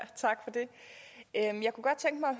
det